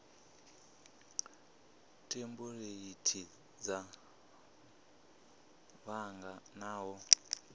thempuleithi dza bannga na u